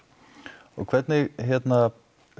og hvernig hérna